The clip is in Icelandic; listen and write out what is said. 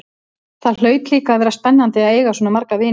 Það hlaut líka að vera spennandi að eiga svona marga vini.